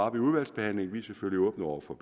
op i udvalgsbehandlingen vi er selvfølgelig åbne over for